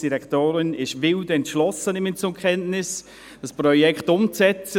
Ich nehme zur Kenntnis, dass Regierungsrätin Allemann wild entschlossen ist, dieses Projekt umzusetzen.